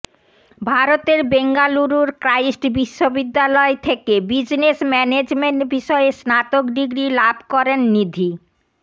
ভারতের বেঙ্গালুরুর ক্রাইস্ট বিশ্ববিদ্যালয় থেকে বিজনেস ম্যানেজমেন্ট বিষয়ে স্নাতক ডিগ্রি লাভ করেন নিধি